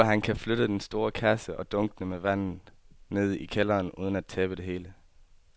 Tror du, at han kan flytte den store kasse og dunkene med vand ned i kælderen uden at tabe det hele?